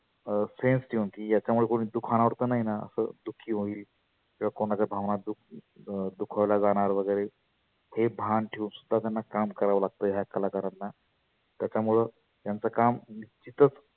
अं sens ठेवुन की याच्यामुळे कोणी दुखवनार तर नाही ना असं दुखी होईल. किंवा कुणाच्या भावना दुख अं दुखावल्या जाणार वगैरे. हे भान ठेऊन सुद्धा त्याना काम करावा लागत ह्या कलाकारांना. त्याच्या मुळ त्यांच काम तीथच